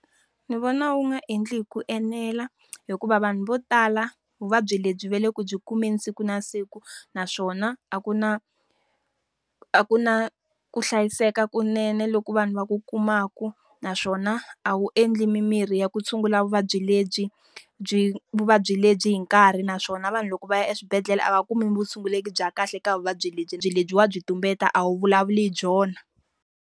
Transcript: Ndzi vona wu nga endli hi ku enela hikuva vanhu vo tala vuvabyi lebyi va le ku byi kumeni siku na siku naswona a ku na, a ku na ku hlayiseka kunene loko vanhu va ku kumaka. Naswona a wu endli mimirhi ya ku tshungula vuvabyi lebyi vuvabyi lebyi hi nkarhi. Naswona vanhu loko va ya eswibedhlele a va kumi vutshunguri bya kahle ka vuvabyi lebyi lebyi wa byi tumbeta a wu vulavuli hi byona.